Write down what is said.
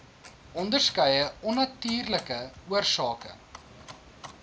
onderskeie onnatuurlike oorsake